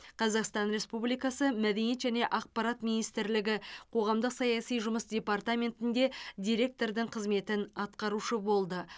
қазақстан республикасы мәдениет және ақпарат министрлігі қоғамдық саяси жұмыс департаментінде диреткордың қызметін атқарушы болды